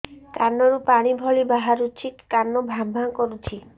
କାନ ରୁ ପାଣି ଭଳି ବାହାରୁଛି କାନ ଭାଁ ଭାଁ କରୁଛି